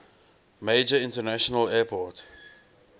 major international airport